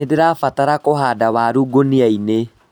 Nĩndĩrabatara kũhanda waru ngũnia-inĩ